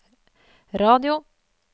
radio